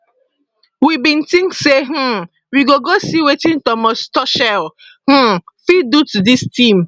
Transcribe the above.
we bin tink say um we go go see wetin thomas tuchel um fit do to dis team